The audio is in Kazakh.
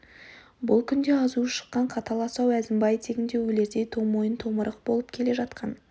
бұл күнде азуы шыққан қатал асау әзімбай тегіңде өлердей тоңмойын томырық болып келе жатқан